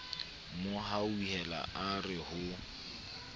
mo hauhela a re ho